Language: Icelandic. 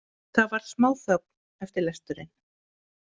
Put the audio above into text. Það varð smáþögn eftir lesturinn.